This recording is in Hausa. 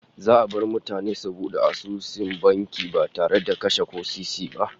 Za'a bar mutane su bude asusun banki ba tare da kase ko sisi ba